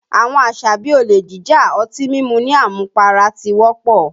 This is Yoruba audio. Àwọn àṣà bí i olè jíjà, ọtí mímu ní àmupara ti wọ́pọ̀